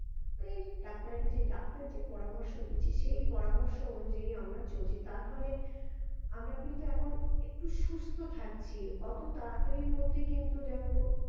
এই ডাক্তারের কাছে ডাক্তার যে পরামর্শ দিচ্ছে সেই পরামর্শ অনুযায়ী আমরা চলছি তার ফলে আমরা কিন্তু এখন একটু সুস্থ থাকছি অতো তাড়াতাড়ির মধ্যে কিন্তু দেখো